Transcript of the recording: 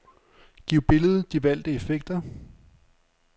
Giv billedet de valgte effekter.